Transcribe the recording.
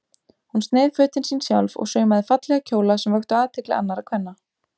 Hún sneið fötin sín sjálf og saumaði fallega kjóla sem vöktu athygli annarra kvenna.